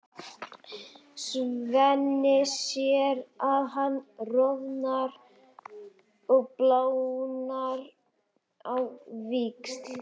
Svenni sér að hann roðnar og blánar á víxl.